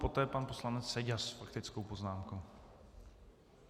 Poté pan poslanec Seďa s faktickou poznámkou.